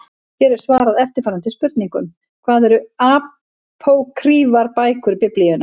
Hér er svarað eftirfarandi spurningum: Hvað eru apókrýfar bækur Biblíunnar?